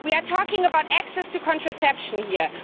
We are talking about access to contraception here.